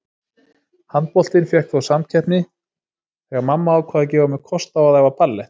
Handboltinn fékk þó samkeppni þegar mamma ákvað að gefa mér kost á að æfa ballett.